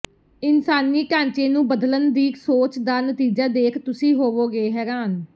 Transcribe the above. ਇਨਸਾਨੀ ਢਾਂਚੇ ਨੂੰ ਬਦਲਣ ਦੀ ਸੋਚ ਦਾ ਨਤੀਜਾ ਦੇਖ ਤੁਸੀਂ ਹੋਵੋਗੇ ਹੈਰਾਨ